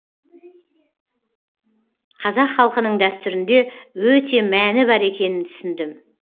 қазақ халқының дәстүрінде өте мәні бар екенін түсіндім